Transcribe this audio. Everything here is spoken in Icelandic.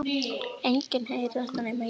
Enginn heyrir þetta nema ég.